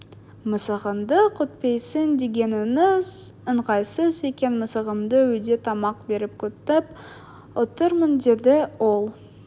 мысығыңды күтпейсің дегеніңіз ыңғайсыз екен мысығымды үйде тамақ беріп күтіп отырмын деді ол